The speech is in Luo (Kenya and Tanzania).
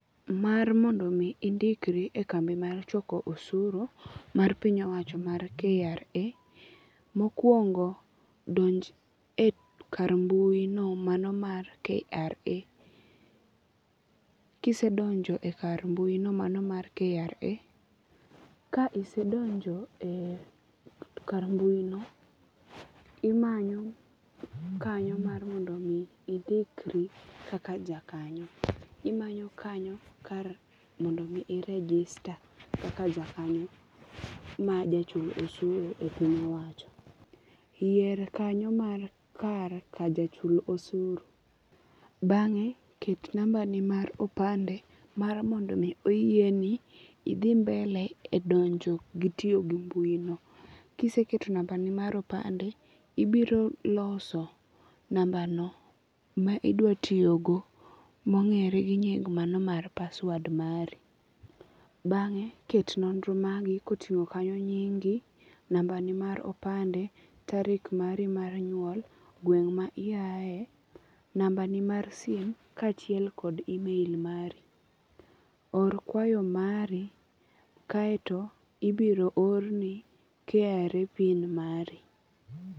Mar mondo mi indikri e kambi mar choko oshuru, mar piny owacho mar KRA, mokuongo donj e kar mbuyino mano mar KRA, kisedonjo e kar mbuino mano mar KRA, ka isedonjo ee kar mbuino, imanyo kanyo mar mondo mi indikri kaka ja kanyo, imanyo kanyo kar mondo mi i register eka aja kanyo mar jo chul oshuru e piny owacho, yier kanyo mar kar kajochul oshuru, bange' ket nambani mar opande mar mondo mi oyieni ithi mbele e donjo gi tiyo gi mbuino, kiseketo nambanino mar opande ibiro loso nambano ma idwatiyogo ma ongere gi nying manomar password mari, bange' ket nondro mari kotingo' kanyo nyingi, nambani mar opande tarik mari mar nyuol , gweng' ma iyae nambani mar simu kachiel kod email mari, or kwayo mari kae to ibiro orni KRA pin mari.